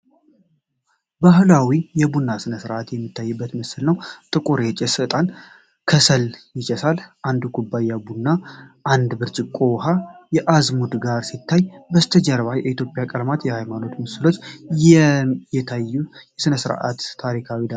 ባህላዊ የቡና ሥነ ሥርዓት የሚታይበት ምስል ነው፤ ጥቁር የጭስ ዕጣንና ከሰል ይጨሳል። አንድ ኩባያ ቡና፣ አንድ ብርጭቆ ውሃ ከአዝሙድ ጋር ሲታይ፣ ከበስተጀርባ የኢትዮጵያ ቀለማትና የሃይማኖት ምስሎች መታየቱ የሥነ ሥርዓቱን ታሪካዊ ዳራ በምን ያህል መጠን ይጨምረዋል?